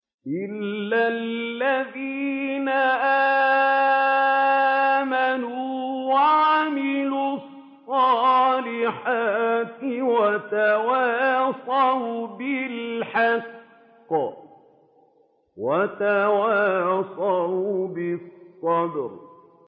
إِلَّا الَّذِينَ آمَنُوا وَعَمِلُوا الصَّالِحَاتِ وَتَوَاصَوْا بِالْحَقِّ وَتَوَاصَوْا بِالصَّبْرِ